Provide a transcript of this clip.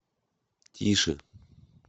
тише